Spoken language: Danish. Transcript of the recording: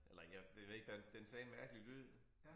Eller jeg det ved jeg ikke den den sagde en mærkelig lyd